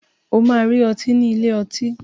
O máa rí ọtí nílé ọtí.